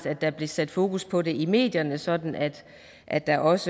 at der bliver sat fokus på det i medierne sådan at at der også